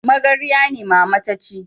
Magarya ne mama ta ci